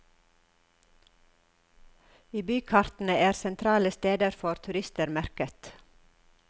I bykartene er sentrale steder for turister merket.